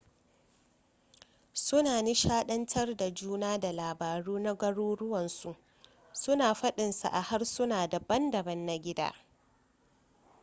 suna nishadantar da juna da labaru na garuruwansu suna fadinsa a harsuna dabam-dabam na gida